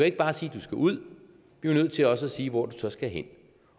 ikke bare sige du skal ud vi er nødt til også at sige hvor så skal hen